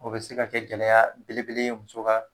O be se ka kɛ gɛlɛya belebele muso ka